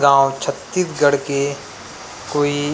गाँव छत्तीसगढ़ के कोई